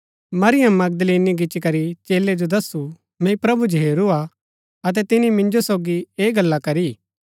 Maryam Magdalene गिच्ची करी चेलै जो दस्सु मैंई प्रभु जो हेरू हा अतै तिनी मिन्जो सोगी ऐह गल्ला करी